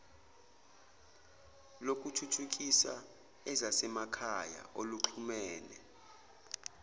lokuthuthukisa ezasemakhaya oluxhumene